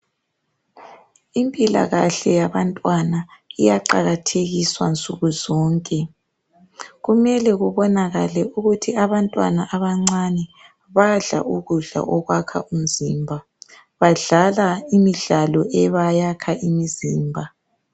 Impilakahle yabantwana iyaqakathekiswa nsukuzonke kumele kubonakale ukuthi abantwana abancane badlala ukudla okwakha umzimba badlala imidlalo ebayakha imizimba.